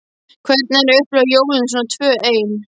Hvernig er að upplifa jólin svona tvö ein.